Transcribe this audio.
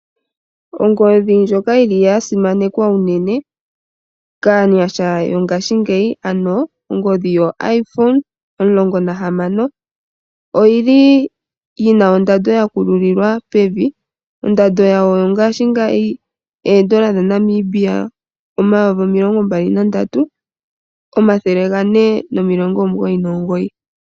Ongodhi ndjoka yili yasimanekwa unene kaanyasha yo ngashi ngeyi ano ongodhi yo iPhone omulongo nahamo oyili yina ondando yakululiwa pevi ondando yahoo ngashi ngeyi eendola dha Namibia omayovi omilongo mbali na ndatu omathele gane no milongo omugoyi no mugoyi.